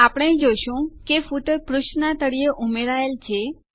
આપણે જોશું કે ફૂટર પુષ્ઠના તળીએ ઉમેરાયેલ છે